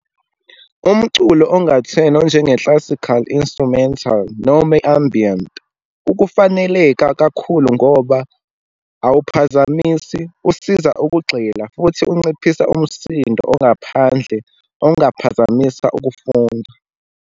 Umculo ongathenwa, onjenge-classical instrumental, noma i-ambiant, ukufaneleka kakhulu, ngoba awuphazamisi, usiza ukugxila, futhi unciphisa umsindo ongaphandle, ongaphazamisa ukufunda.